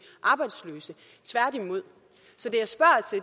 arbejdsløse tværtimod så